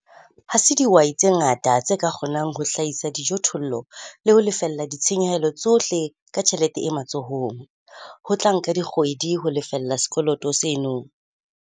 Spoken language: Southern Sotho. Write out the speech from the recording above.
Ha se dihwai tse ngata tse ka kgonang ho hlahisa dijothollo le ho lefella ditshenyehelo tsohle ka tjhelete e matsohong. Ho tla nka dikgwedi ho lefella sekoloto seno.